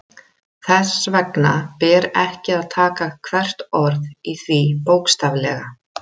Þess vegna ber ekki að taka hvert orð í því bókstaflega.